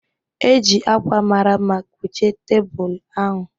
E ji ákwà mara mma kpuchie tebụl ahụ